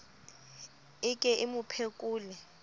e ke e mo phekole